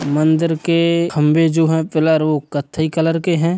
मंदिर के खम्भे जो हैं पिलर वो कत्थई कलर के हैं।